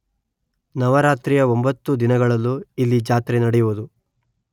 ನವರಾತ್ರಿಯ ಒಂಬತ್ತು ದಿನಗಳಲ್ಲೂ ಇಲ್ಲಿ ಜಾತ್ರೆ ನಡೆಯುವುದು